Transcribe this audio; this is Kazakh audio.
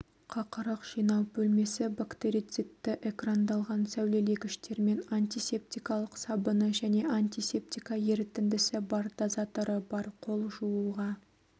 қақырық жинау бөлмесі бактерицидті экрандалған сәулелегіштермен антисептикалық сабыны және антисептика ерітіндісі бар дозаторы бар қол жууға